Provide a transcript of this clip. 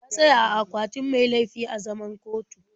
Ya tsaya a akwatin mai laifi a zaman kotun.